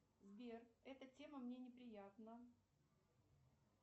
сбер эта тема мне неприятна